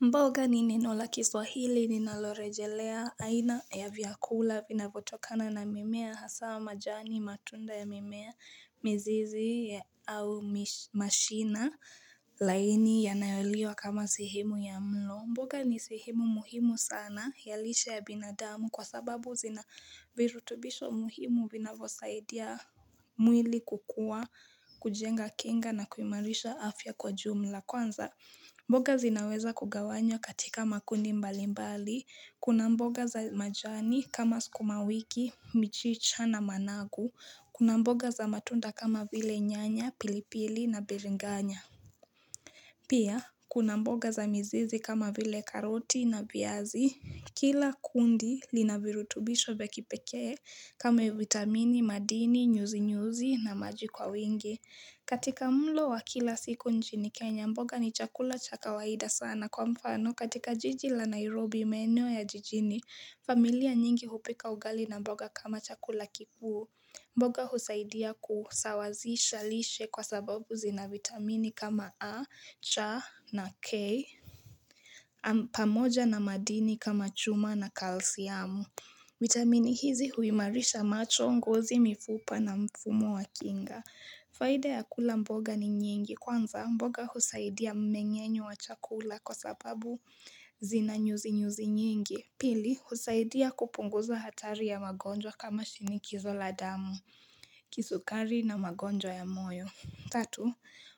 Mboga ni ninaulakiswa hili ninalorejelea aina ya viakula vinavotokana na mimea hasama jani matunda ya mimea mzizi au mashina laini yanayoliwa kama sihimu ya mlo. Mboga ni sihimu muhimu sana yalisha ya binadamu kwa sababu zina virutubisho muhimu vinavosaidia mwili kukua kujenga kinga na kuimarisha afya kwa jumla. Kwanza, mboga zinaweza kugawanya katika makundi mbali mbali, kuna mboga za majani kama skumawiki, mchicha na managu, kuna mboga za matunda kama vile nyanya, pilipili na bilinganya. Pia, kuna mboga za mzizi kama vile karoti na viazi, kila kundi linavirutubisho vekipeke kama vitamini, madini, nyuzi-nyuzi na majikwa wingi. Katika mlo wa kila siku njini Kenya, mboga ni chakula chakawaida sana kwa mfano. Katika jijila Nairobi menu ya jijini, familia nyingi hupika ugali na mboga kama chakula kipuu. Mboga husaidia kusawazi shalishe kwa sababu zina vitamini kama A, cha na K, pamoja na madini kama chuma na kalsiamu. Vitamini hizi huimarisha macho, ngozi mifupa na mfumo wa kinga. Faida ya kula mboga ni nyingi kwanza mboga husaidia mmenyenyo wa chakula kwa sababu zinanyuzinyuzi nyingi. Pili husaidia kupunguza hatari ya magonjwa kama shinikizo la damu, kisukari na magonjwa ya moyo. Tatu